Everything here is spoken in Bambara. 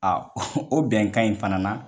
o bɛnkan in fana na